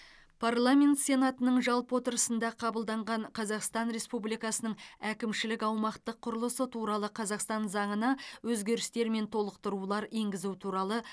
парламент сенатының жалпы отырысында қабылданған қазақстан республикасының әкімшілік аумақтық құрылысы туралы қазақстан заңына өзгерістер мен толықтырулар енгізу туралы